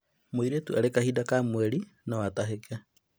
Mũirĩtu arĩ kahinda ka mweri no atahĩke